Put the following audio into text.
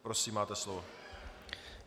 Prosím, máte slovo.